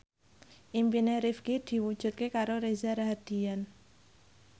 impine Rifqi diwujudke karo Reza Rahardian